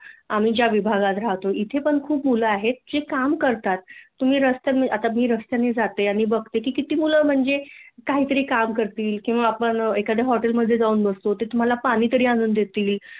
आम्ही ज्या विभागात रहातो इथे पण खूप मुले आहेत जी काम करतात आता मी रस्त्याने जाते बघते की किती मुल म्हणजे काहीतरी काम करतील किंवा आपण एखाद्या हॉटेल मधे जाऊन बसतो ते तुम्हाला पाणी तरी आणून देतील